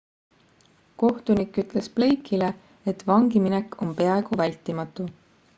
kohtunik ütles blake'ile et vangiminek on peaaegu vältimatu